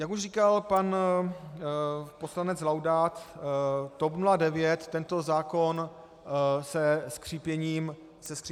Jak už říkal pan poslanec Laudát, TOP 09 tento zákon se skřípěním zubů podpoří.